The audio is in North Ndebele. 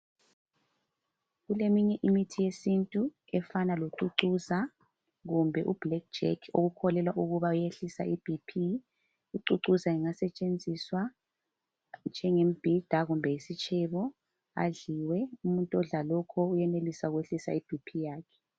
kuleminye imithi yesintu efana locucuza kumbe iblack jack okukholelwa ukuba uyehlisa ibp. Ucuccuzwa engasetshenziswa njengebhida kumbe isitshebo adliwe umuntu odla lokhu uyenelisa ukwehlisa ibp yakhe.